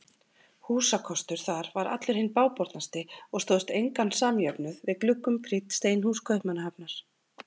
Húsakostur þar var allur hinn bágbornasti og stóðst engan samjöfnuð við gluggum prýdd steinhús Kaupmannahafnar.